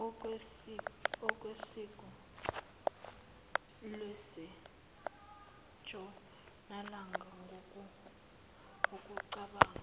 ngesiko lasentshonalanga ngokucabanga